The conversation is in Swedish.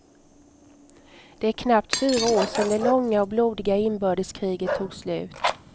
Det är knappt fyra år sedan det långa och blodiga inbördeskriget tog slut.